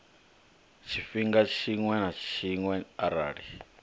tshifhinga tshiṅwe na tshiṅwe arali